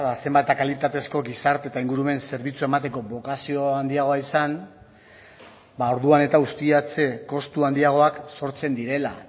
zenbat eta kalitatezko gizarte eta ingurumen zerbitzua emateko bokazio handiagoa izan ba orduan eta ustiatze kostu handiagoak sortzen direla